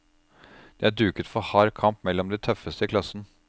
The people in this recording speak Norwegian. Det er duket for hard kamp mellom de tøffeste i klassen.